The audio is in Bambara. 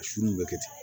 A sun bɛ kɛ ten